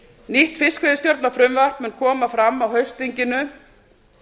nýtt fiskveiðistjórnarfrumvarp mun koma fram á haustþinginu